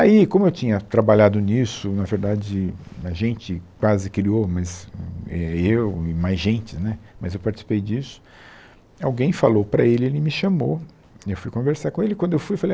Aí, como eu tinha trabalhado nisso, na verdade, a gente quase criou, mas eh eu e mais gente, né, mas eu participei disso, alguém falou para ele, ele me chamou, eu fui conversar com ele, quando eu fui, eu falei, ah